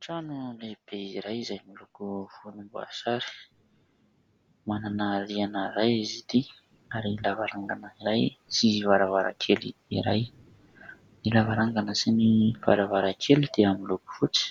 Trano lehibe iray izay miloko volomboasary, manana rihina iray izy ity ary lavarangana iray sy varavarakely iray; ny lavarangana sy ny varavarakely dia miloko fotsy,